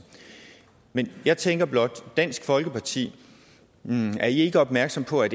men jeg tænker blot er dansk folkeparti helt opmærksom på at